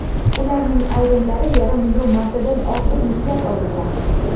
Ularning ayrimlari yarim million martadan ortiq yuklab olingan.